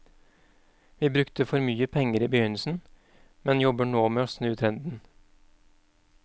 Vi brukte for mye penger i begynnelsen, men jobber nå med å snu trenden.